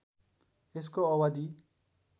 यसको अवधि